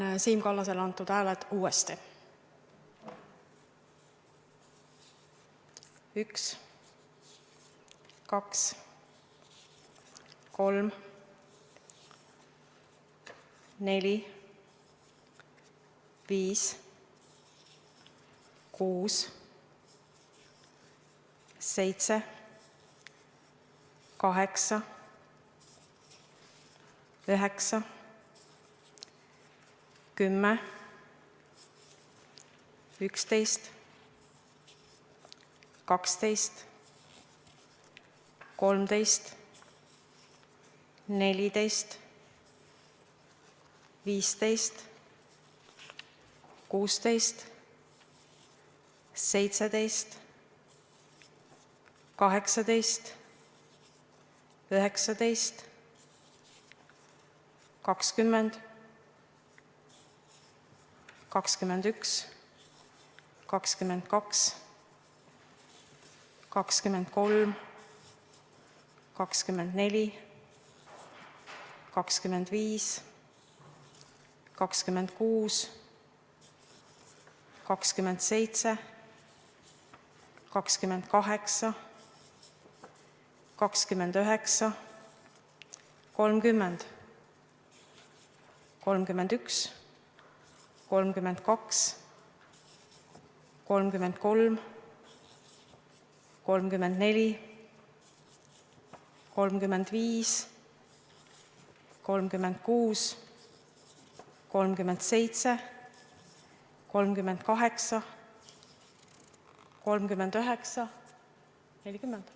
Ma loen Siim Kallasele antud hääled uuesti ette: 1, 2, 3, 4, 5, 6, 7, 8, 9, 10, 11, 12, 13, 14, 15, 16, 17, 18, 19, 20, 21, 22, 23, 24, 25, 26, 27, 28, 29, 30, 31, 32, 33, 34, 35, 36, 37, 38, 39, 40.